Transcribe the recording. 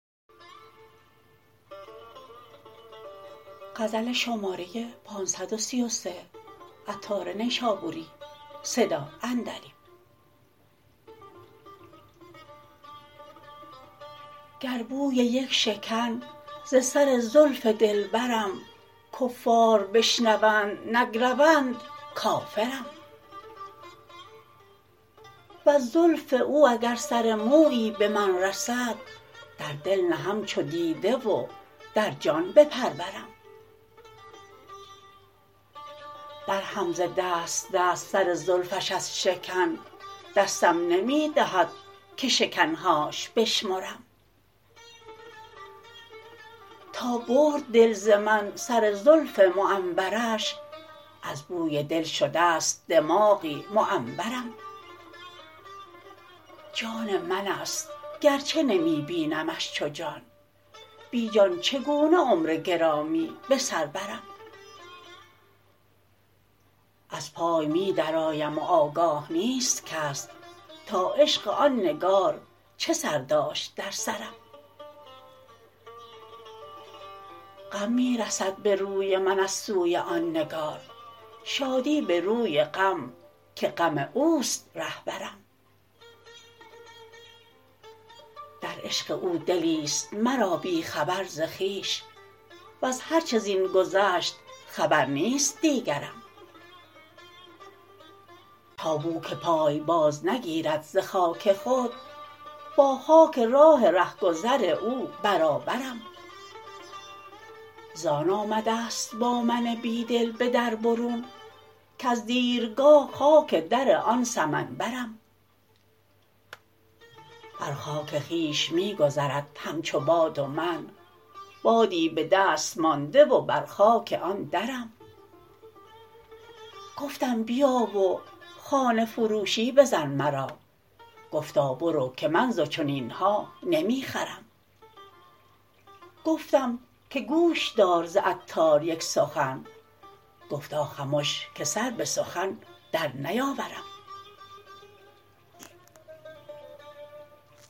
گر بوی یک شکن ز سر زلف دلبرم کفار بشنوند نگروند کافرم وز زلف او اگر سر مویی به من رسد در دل نهم چو دیده و در جان بپرورم درهم ز دست دست سر زلفش از شکن دستم نمی دهد که شکن هاش بشمرم تا برد دل ز من سر زلف معنبرش از بوی دل شده است دماغی معنبرم جان من است گرچه نمی بینمش چو جان بی جان چگونه عمر گرامی به سر برم از پای می درآیم و آگاه نیست کس تا عشق آن نگار چه سر داشت در سرم غم می رسد به روی من از سوی آن نگار شادی به روی غم که غم اوست رهبرم در عشق او دلی است مرا بی خبر ز خویش وز هر چه زین گذشت خبر نیست دیگرم تا بو که پای باز نگیرد ز خاک خود با خاک راه رهگذر او برابرم زان آمده است با من بیدل به در برون کز دیرگاه خاک در آن سمن برم بر خاک خویش می گذرد همچو باد و من بادی به دست مانده و بر خاک آن درم گفتم بیا و خانه فروشی بزن مرا گفتا برو که من ز چنین ها نمی خرم گفتم که گوش دار ز عطار یک سخن گفتا خمش که سر به سخن در نیاورم